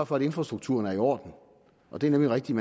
for at infrastrukturen er i orden og det er nemlig rigtigt